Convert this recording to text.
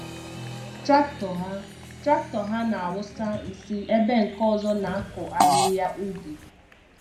Traktọ ha Traktọ ha na-awụsa nsị ebe nke ọzọ na-akụ ahịhịa ubi.